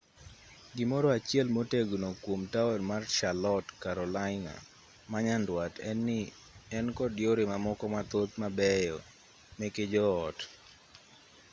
gimoro achiel motegno kuom taon mar charlotte carolina manyandwat en-ni en kod yore mamoko mathoth mabeyo meke jo ot